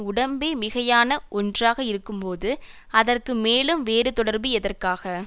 உடம்பே மிகையான ஒன்றாக இருக்கும்போது அதற்கு மேலும் வேறு தொடர்பு எதற்காக